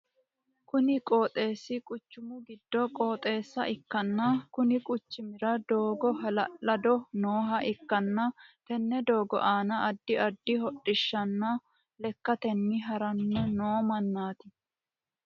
Kunni qooxeesi quchumu gido qooxeessa ikanna konni quchumira doogo ha'lalado nooha ikanna tenne doogo aanna addi addi hodhishanna lekatenni haranni noo manaati.